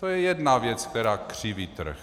To je jedna věc, která křiví trh.